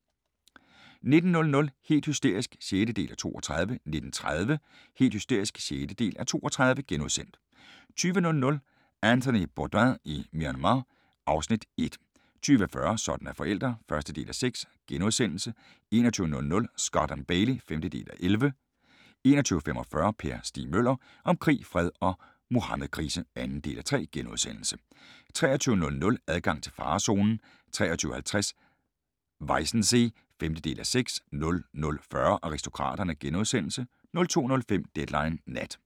19:00: Helt hysterisk (6:32) 19:30: Helt hysterisk (6:32)* 20:00: Anthony Bourdain i Myanmar (Afs. 1) 20:40: Sådan er forældre (1:6)* 21:00: Scott & Bailey (5:11) 21:45: Per Stig Møller – om krig, fred og Muhammedkrise (2:3)* 23:00: Adgang til farezonen 23:50: Weissensee (5:6) 00:40: Aristokraterne * 02:05: Deadline Nat